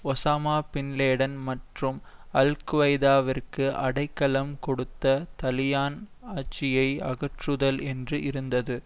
Osama bin Laden மற்றும் அல் குவைதாவிற்கு அடைக்கலம் கொடுத்த தலிபான் ஆட்சியை அகற்றுதல் என்று இருந்தது